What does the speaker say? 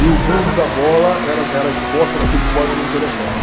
E o Mundo da Bola era esporte, era futebol e não me interessava.